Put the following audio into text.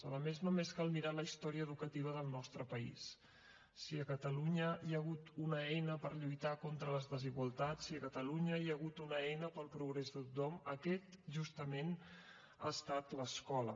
a més només cal mirar la història educativa del nostre país si a catalunya hi ha hagut una eina per lluitar contra les desigualtats si a catalunya hi ha hagut una eina per al progrés de tothom aquest justament ha estat l’escola